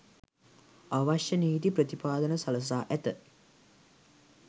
අවශ්‍ය නීති ප්‍රතිපාදන සලසා ඇත